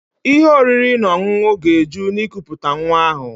Ihe oriri na ọṅụṅụ ga-eju na ikuputa nwa ahụ